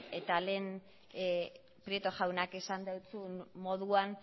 eta lehen prieto jaunak esan dizun moduan